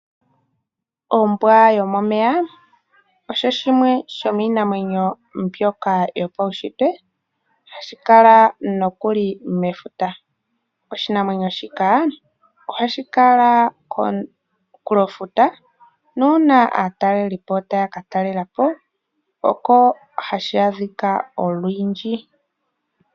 Ombwa yomomeya oyo yimwe yomiinamwenyo yopaushintwe, hayi kala nokuli mefuta. Oshinamwenyo shika ohashi kala komunkulofuta, nuuna aatalelipo taya katalelapo, oko hashi adhika olundji.